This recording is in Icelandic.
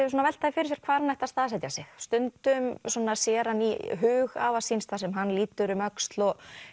að velta því fyrir sér hvar hann ætti að staðsetja sig stundum svona sér hann í hug afa síns þar sem hann lítur um öxl og